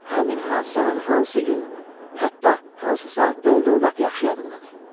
Həmin hadisənin hansı gün, hətta hansı saatda olduğu lap yaxşı yadımdadır.